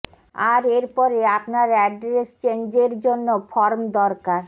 আর এর পরে আপনার অ্যাড্রেস চেনেজ্র জন্য ফর্ম দরকার